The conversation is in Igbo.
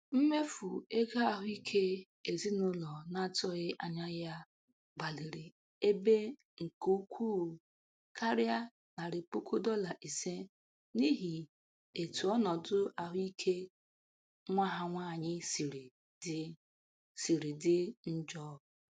Mmefu ego ahụike ezinụlọ na-atụghị anya ya gbaliri ebe nke ukwuu karịa narị puku dọla ise n'ihi etu ọnụdụ ahụike nwa ha nwaanyị siri dị siri dị njọ.